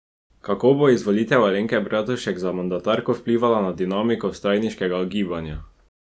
Kako bo izvolitev Alenke Bratušek za mandatarko vplivala na dinamiko vstajniškega gibanja?